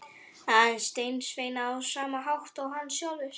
Aðeins sendisveinar á sama hátt og hann sjálfur.